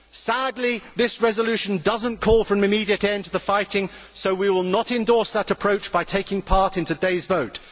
Sadly, this resolution does not call for an immediate end to the fighting, so we will not endorse that approach by taking part in today's vote.